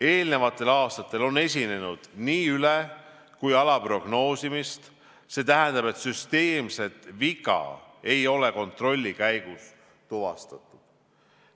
Eelnevatel aastatel on esinenud nii üle- kui ka alaprognoosimist, st süsteemset viga ei ole kontrolli käigus tuvastatud.